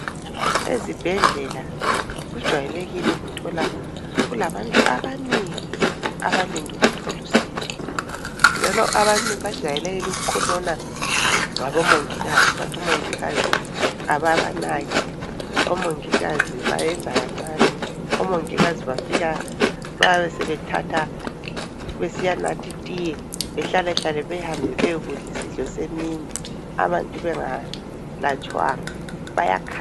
Ezibhedlela kujwayelekile ukuthola kulabantu abanengi abalinde ukuthola usizo. Njalo abantu bajayelekile ukukhonona ngabomongikazi bathi omongikazi ababanaki, omongikazi bayenza kancane, omongikazi bafika bayabe sebethatha besiya nathi tiye behlale hlale behambe bayekudla isidlo semini abantu bengalatshwanga bayakhala.